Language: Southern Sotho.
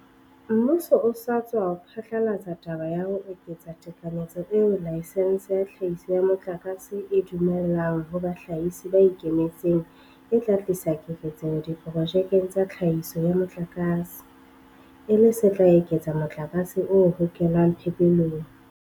Mmuso o sa tswa phatlalatsa taba ya ho eketsa tekanyetso eo laesense ya tlhahiso ya motlakase e e dumellang ho bahlahisi ba ikemetseng e tla tlisa keketseho diprojekeng tsa tlhahiso ya motlakase, e le se tla eketsa motlakase o hokelwang phepelong.